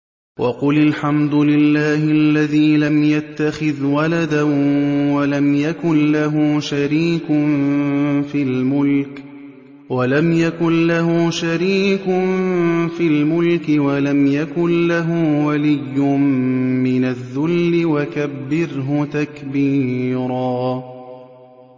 وَقُلِ الْحَمْدُ لِلَّهِ الَّذِي لَمْ يَتَّخِذْ وَلَدًا وَلَمْ يَكُن لَّهُ شَرِيكٌ فِي الْمُلْكِ وَلَمْ يَكُن لَّهُ وَلِيٌّ مِّنَ الذُّلِّ ۖ وَكَبِّرْهُ تَكْبِيرًا